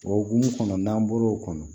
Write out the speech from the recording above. O hokumu kɔnɔ n'an bɔr'o kɔnɔ